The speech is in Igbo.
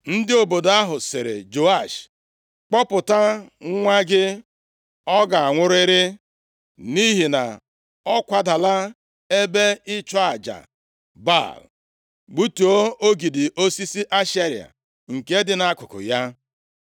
Ndị obodo ahụ sịrị Joash, “Kpụpụta nwa gị. Ọ ga-anwụrịrị, nʼihi na ọ kwadala ebe ịchụ aja Baal, gbutuo ogidi osisi Ashera, nke dị nʼakụkụ ya.”